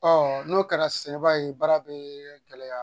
n'o kɛra se i b'a ye baara bɛ gɛlɛya